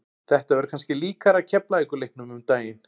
Þetta verður kannski líkara Keflavíkur leiknum um daginn.